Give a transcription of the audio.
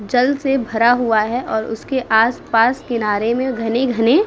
जल से भरा हुआ है और उसके आस- पास किनारे में घने-घने --